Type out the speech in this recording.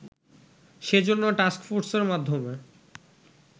সেজন্য টাক্সফোর্সের মাধ্যমে